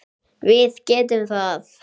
Við getum það.